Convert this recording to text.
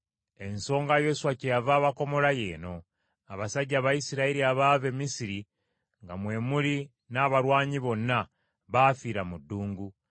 Ensonga Yoswa kyeyava abakomola y’eno: abasajja Abayisirayiri abaava e Misiri nga mwe muli n’abalwanyi bonna, baafiira mu ddungu.